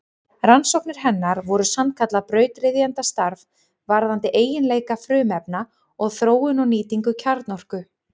Rannsóknir hennar voru sannkallað brautryðjendastarf varðandi eiginleika frumefna og þróun og nýtingu kjarnorku.